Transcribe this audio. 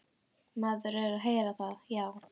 Maður er að heyra það, já.